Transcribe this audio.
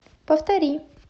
повтори